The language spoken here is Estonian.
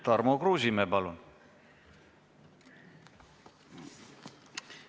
Tarmo Kruusimäe, palun!